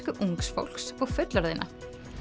ungs fólks og fullorðinna